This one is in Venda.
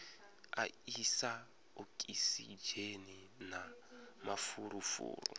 a isa okisidzheni na mafulufulu